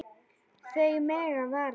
Þau mega vara sig.